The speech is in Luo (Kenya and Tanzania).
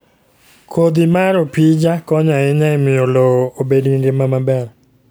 Kodhi mar opija konyo ahinya e miyo lowo obed gi ngima maber.